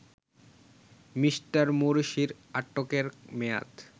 Me. মোরসির আটকের মেয়াদ